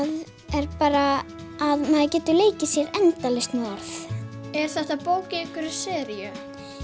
er bara að maður getur leikið sér endalaust með orð er þetta bók í einhverri seríu